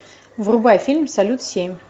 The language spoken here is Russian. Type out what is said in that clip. врубай фильм салют семь